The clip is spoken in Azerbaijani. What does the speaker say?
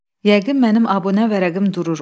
Yəqin mənim abunə vərəqim durur.